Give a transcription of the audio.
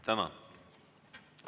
Tänan!